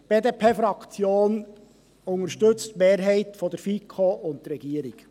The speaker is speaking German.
Die BDP-Fraktion unterstützt die Mehrheit der FiKo und die Regierung.